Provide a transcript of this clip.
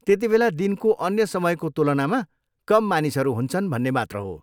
त्यतिबेला दिनको अन्य समयको तुलनामा कम मानिसहरू हुन्छन् भन्ने मात्र हो।